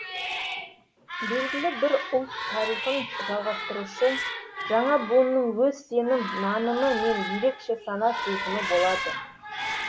белгілі бір ұлт тарихын жалғастырушы жаңа буынның өз сенім нанымы мен ерекше сана сезімі болады